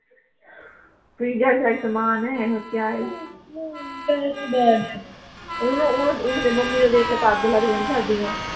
ਸਮਾਨ ਐ ਹੋਰ ਕਿਆ ਏ ਓਹਨੂੰ ਓਹਨੂੰ ਓਹਨੂੰ ਤਾਂ ਮੰਮੀ ਨੂੰ ਦੇਖ ਕੇ ਤਾਂ ਅੱਗ ਲੱਗ ਜਾਣੀ ਸਾਡੀ ਨੂੰ